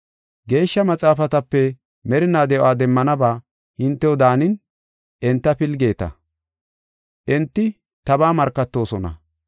“Geeshsha Maxaafatape merinaa de7o demmanabaa hintew daanin enta pilgeeta; enti tabaa markatoosona.